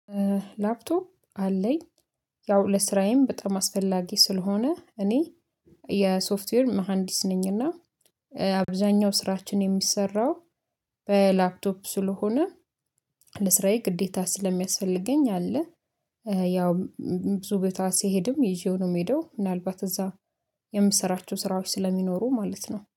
ላፕቶፕ አለኝ ያው ለስራዬም በጣም አስፈላጊ ስለሆነ እኔ የሶፍትዌር መሃንዲስ ነኝና አብዛኛው ስራችን የሚሰራው በላፕቶፕ ስለሆነ ለስራዬ ግዴታ ስለሚያስፈልገኝ አለ። ያው ብዙ ቦታ ሲሄድም ይዤው ነው የምሄደው። ምናልባት እዛ የምሰራቸው ስራዎች ስለሚኖሩ ማለት ነው